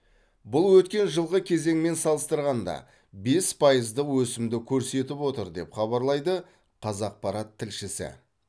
бұл өткен жылғы кезеңмен салыстырғанда бес пайыздық өсімді көрсетіп отыр деп хабарлайды қазақпарат тілшісі